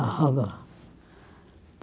Estava.